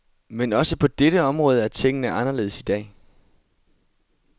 Men også på dette område er tingene anderledes i dag.